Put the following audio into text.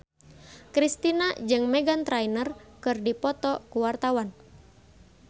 Kristina jeung Meghan Trainor keur dipoto ku wartawan